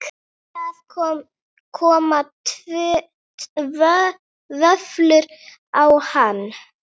Það koma vöflur á hana.